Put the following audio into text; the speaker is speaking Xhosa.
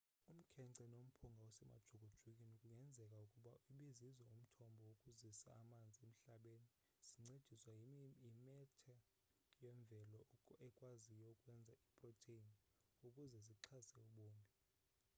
umkhence nomphunga osemajukujukwini kungenzeka ukuba ibizizo umthombo wokuzisa amanzi emhlabeni zincendiswa yimetha yemvelo ekwaziyo ukwenza iiprotheyini ukuze zixhase ubomi